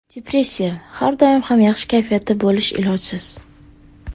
Depressiya Har doim ham yaxshi kayfiyatda bo‘lish ilojsiz.